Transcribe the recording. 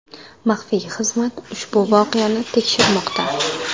Maxfiy xizmat ushbu voqeani tekshirmoqda.